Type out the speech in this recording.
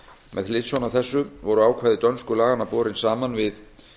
með hliðsjón af þessu voru ákvæði dönsku laganna borin saman við